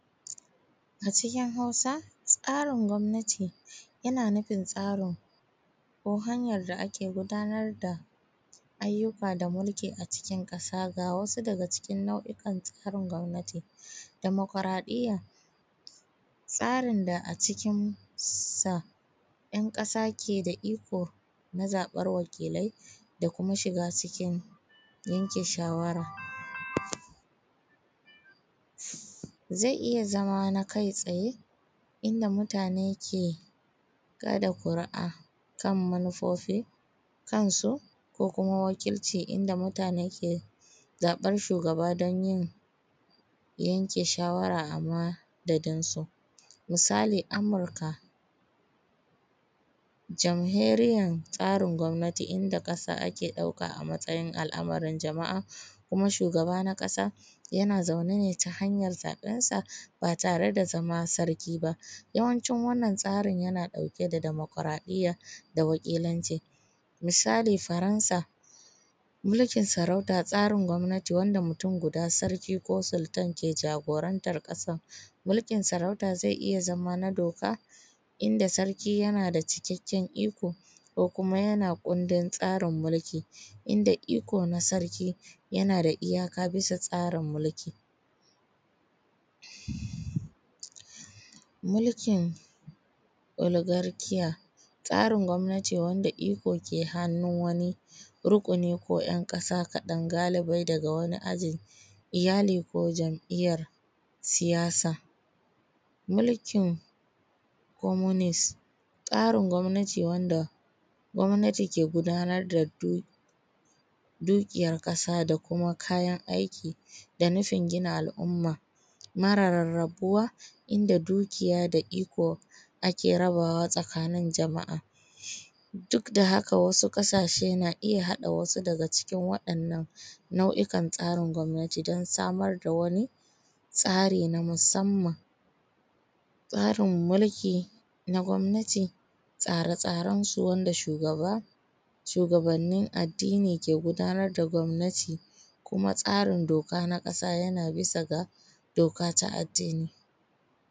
A cikin Hausa, tsarin gwamnati yana nufin tsarin, ko hanyar da ake gudanar da ayyuka da mulki a cikin ƙasa. Ga wasu daga cikin nau’in tsarin gwamnati: dimokaraɗiyya, tsarin da a cikinsa ‘yan ƙasa ke da iko na zaɓar wakilai da kuma shiga cikin yanke shawara. Zai iya zama na kai tsaye, inda mutane ke kaɗa ƙuri’a kan manufofi kansu, ko kuma wakilci, inda mutane ke zaɓar shugaba don yin yanke shawara a madadinsu. Misali, Amurka, jamhuriyar tsarin gwamnati inda ƙasa ake ɗauka a matsayin al’amarin jama’a, kuma shugaba na ƙasa yana zaune ne ta hanyar zaɓensa ba tare da zama sarki ba. Yawancin wannan tsarin yana ɗauke da dimokaraɗiyya da wakilanci. Misali, Faransa, mulkin sarauta, tsarin gwamnati wanda mutum guda sarki ko sultan ke jagorantar ƙasar. Mulkin sarauta zai iya zama na doka, inda sarki yana cikakken iko ko kuma yana kundin tsarin mulki,, inda iko na sarki yana da iyaka bisa tsarin mulki. Mulkin Oligarkiya, tsarin gwamnati wanda iko ke hannun wani rukuni ko ‘yan ƙasa kaɗan galibai daga wani aji, iyali ko jam’iyyar siyasa. Mulkin communist, tsarin gwamnati wanda gwamnati ke gudanar da dukiyar ƙasa da kuma kayan aiki da nufin gina al’umma mara rarrabuwa, inda dukiya da iko ake rabawa tsakanin jama’a. Duk da haka wasu ƙasashe na iya haɗa wasu daga cikin waɗannan nau’ikan tsarin gwamnati don samar da wani tsari na musamman. Tsarin mulki na gwamnati, tsare tsarensu wanda shugaba, shugabannin addini ke gudanar da gwamnati kuma tsarin doka na ƙasa yana bisa ga doka ta addini.